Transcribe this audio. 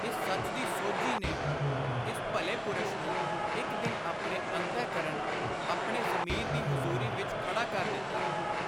ਇਸ ਸੱਚ ਦੀ ਸੋਝੀ ਨੇ ਇਸ ਭਲੇ ਪੁਰਸ਼ ਨੂੰ ਇਕ ਦਿਨ ਆਪਣੇ ਅੰਤਹਕਰਣ, ਆਪਣੇ ਜ਼ਮੀਰ ਦੀ ਹਜ਼ੁਰੀ ਵਿਚ ਖੜਾ ਕਰ ਦਿੱਤਾ।